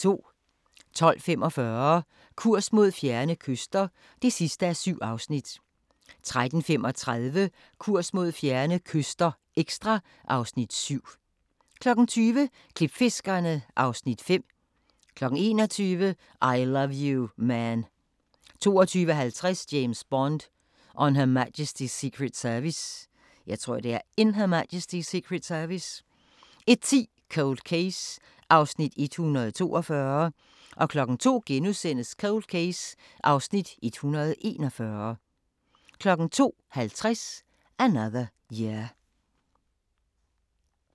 12:45: Kurs mod fjerne kyster (7:7) 13:35: Kurs mod fjerne kyster – ekstra (Afs. 7) 20:00: Klipfiskerne (Afs. 5) 21:00: I Love You, Man 22:50: James Bond: On Her Majesty's Secret Service 01:10: Cold Case (142:156) 02:00: Cold Case (141:156)* 02:50: Another Year